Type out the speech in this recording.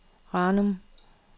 Ranum